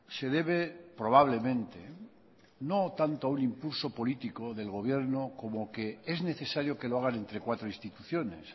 se debe probablemente no tanto a un impulso político del gobierno como que es necesario que lo hagan entre cuatro instituciones